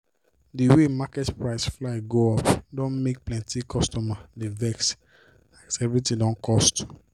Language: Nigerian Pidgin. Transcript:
d way market price fly go up don make plenty customers dey vex as everything don cost.